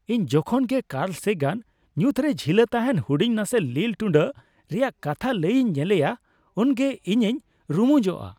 ᱤᱧ ᱡᱚᱠᱷᱚᱱ ᱜᱮ ᱠᱟᱨᱞ ᱥᱮᱜᱟᱱ ᱧᱩᱛᱨᱮ ᱡᱷᱤᱞᱟᱹ ᱛᱟᱦᱮᱱ ᱦᱩᱰᱤᱧ ᱱᱟᱥᱮ ᱞᱤᱞ ᱴᱩᱰᱟᱹᱜ ᱨᱮᱭᱟᱜ ᱠᱟᱛᱷᱟ ᱞᱟᱹᱭ ᱤᱧ ᱧᱮᱞᱮᱭᱟ ᱩᱱᱜᱮ ᱤᱧᱤᱧ ᱨᱩᱢᱩᱧᱚᱜᱼᱟ ᱾